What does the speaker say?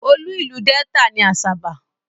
Olú ìlú Delta ni Asaba.